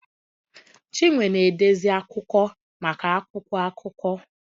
Chinwe na-edezi akụkọ maka akwụkwọ akụkọ